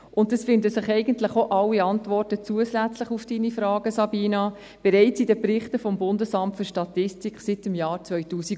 Und zusätzlich finden sich eigentlich auch alle Antworten auf Ihre Fragen, Sabina Geissbühler, bereits in den Berichten des BFS seit dem Jahr 2009.